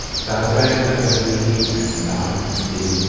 Dadra and Nagar Haveli and Daman and Diu